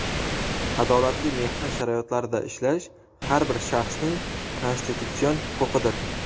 adolatli mehnat sharoitlarida ishlash – har bir shaxsning konstitutsion huquqidir.